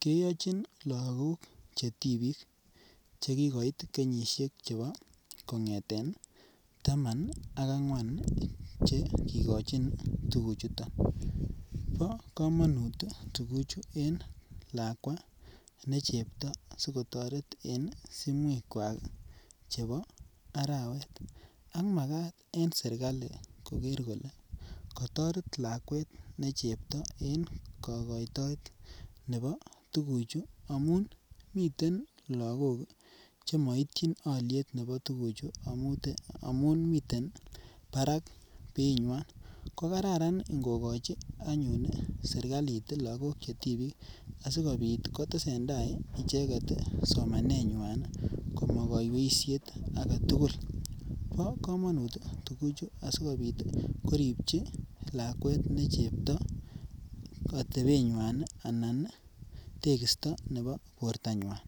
keyochin lagok che tipiik, che kikoit kenyisiek chebo kongeten taman ak angwan che kikochin tukuchuton, bo kamanut tukuchu en lakwa ne chepto sikotoret en simwekwak ii chebo arawet, ak makat en serikali koker kole, katoret lakwet ne chepto en kokoitoet nebo tukuchu amun miten lagok ii che maityin alyet nebo tukuchu amun miten barak beinywan, ko kararan ngokochi anyun serikalit lagok che tipiik asikobit kotesentai icheket somanenywan ii komakaiweisiet ake tugul, bo kamanut tuguchu asikobit koripchi lakwet ne chepto atebenywan ii anan tekisto nebo bortanywan.